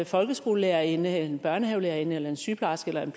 folkeskolelærerinde en børnehavelærerinde eller en sygeplejerske eller en